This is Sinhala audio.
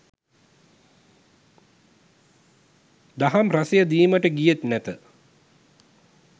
දහම් රසය දීමට ගියෙත් නැත